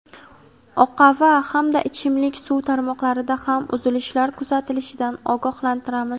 oqava hamda ichimlik suv tarmoqlarida ham uzilishlar kuzatilishidan ogohlantiramiz.